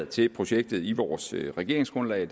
til projektet i vores regeringsgrundlag